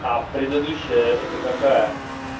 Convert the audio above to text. а предыдущая это какая